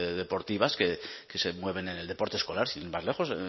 deportivas que se mueven en el deporte escolar sin ir más lejos